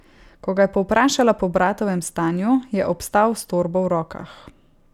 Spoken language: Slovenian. Ko ga je povprašala po bratovem stanju, je obstal s torbo v rokah.